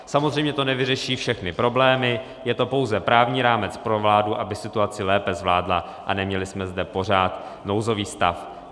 Samozřejmě to nevyřeší všechny problémy, je to pouze právní rámec pro vládu, aby situaci lépe zvládla a neměli jsme zde pořád nouzový stav.